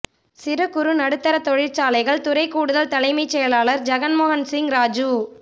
சிறு குறு நடுத்தர தொழிற்சாலைகள் துறை கூடுதல் தலைமைச் செயலாளர் ஜக்மோகன் சிங் ராஜு